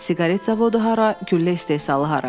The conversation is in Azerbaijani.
Siqaret zavodu hara, güllə istehsalı hara?